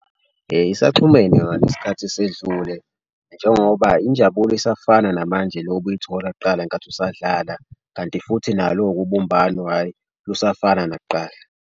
Isaxhumene yona isikhathi esedlule njengoba injabulo isafana namanje le obuyithola kuqala ngenkathi usadlala. Kanti futhi nalo-ke ubumbano hhayi lusafana nakuqala.